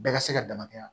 Bɛɛ ka se ka dama tɛmɛ wa